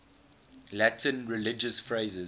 latin religious phrases